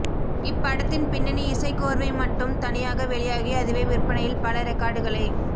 இப்படத்த்தின் பின்னணி இசைக்கோர்வை மட்டும் தனியாக வெளியாகி அதுவே விற்பனையில் பல ரெக்கார்டுகளை